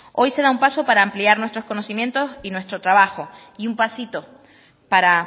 hoy se da un paso para ampliar nuestros conocimientos y nuestro trabajo y un pasito para